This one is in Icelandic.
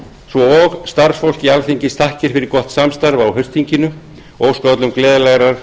svo og starfsfólki alþingis þakkir fyrir gott samstarf á haustþinginu og óska öllum gleðilegrar